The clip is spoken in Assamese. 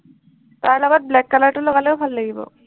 তাৰ লগত black color টো লগালেও ভাল লাগিব।